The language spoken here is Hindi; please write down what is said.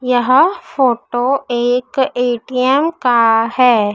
यह फोटो एक ए_टी_एम का हैं।